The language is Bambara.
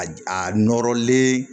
A a nɔrɔlen